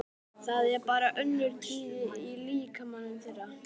Það er bara önnur tíðni í líkamanum þeirra.